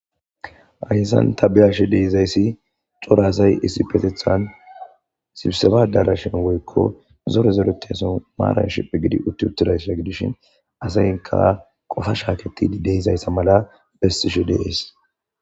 Hayssan ta beyashe dizayssi cora asy issipeteththan sibiseba addarashan woykko zoore zooretiza maaran shiiphi giiddi uutti uttidayssa gidishin asaykka qoohanii shaakettidi de'izayssa mala besishe de'es.